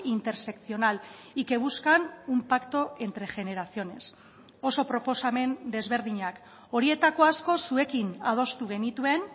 interseccional y que buscan un pacto entre generaciones oso proposamen desberdinak horietako asko zuekin adostu genituen